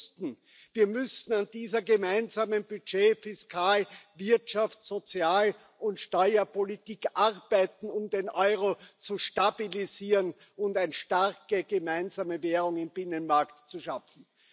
Und wir wussten, wir müssen an dieser gemeinsamen Budget Fiskal Wirtschafts Sozial und Steuerpolitik arbeiten, um den Euro zu stabilisieren und eine starke gemeinsame Währung im Binnenmarkt zu schaffen.